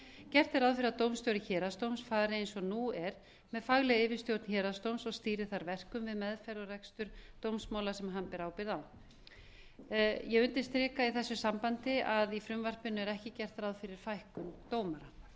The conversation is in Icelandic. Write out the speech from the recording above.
gert er ráð fyrir að dómstjóri héraðsdóms fari eins og nú er með faglega yfirstjórn héraðsdóms og stýri þar verkum við meðferð og rekstur dómsmála sem hann ber ábyrgð á ég undirstrika í þessu sambandi að í frumvarpinu er ekki gert ráð fyrir fækkun dómara